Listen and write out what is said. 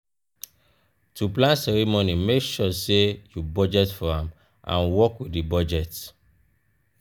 to plan ceremony make sure say you budget for am and work with di budget